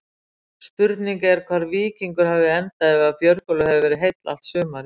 Spurning er hvar Víkingur hefði endað ef Björgólfur hefði verið heill allt sumarið?